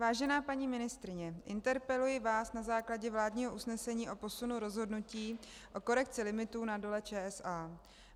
Vážená paní ministryně, interpeluji vás na základě vládního usnesení o posunu rozhodnutí o korekci limitů na Dole ČSA.